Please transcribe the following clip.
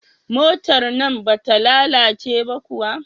Motar nan bata lalace ba kuwa?